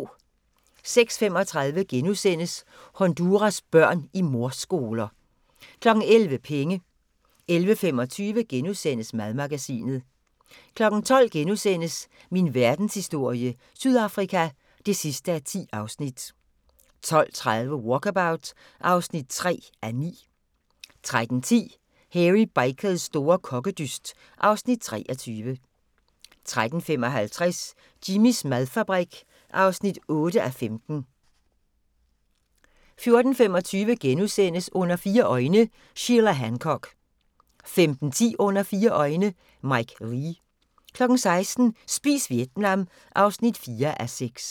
06:35: Honduras børn i mordskoler * 11:00: Penge 11:25: Madmagasinet * 12:00: Min verdenshistorie - Sydafrika (10:10)* 12:30: Walkabout (3:9) 13:10: Hairy Bikers store kokkedyst (Afs. 23) 13:55: Jimmys madfabrik (8:15) 14:25: Under fire øjne – Sheila Hancock * 15:10: Under fire øjne – Mike Leigh 16:00: Spis Vietnam (4:6)